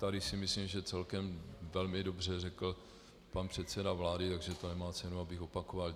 Tady si myslím, že celkem velmi dobře řekl pan předseda vlády, takže to nemá cenu, abych opakoval.